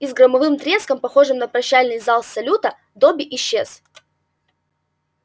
и с громовым треском похожим на прощальный зал салюта добби исчез